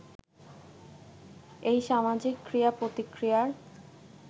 এই সামাজিক ক্রিয়া-প্রতিক্রিয়ায়